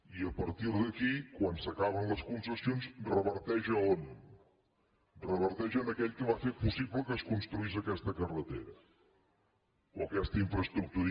i a partir d’aquí quan s’acaben les concessions reverteix a on reverteix en aquell que va fer possible que es construís aquesta carretera o aquesta infraestructura